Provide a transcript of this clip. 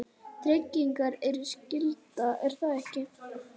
tryggingar eru skylda, er það ekki?